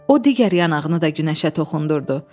O digər yanağını da günəşə toxundurdu.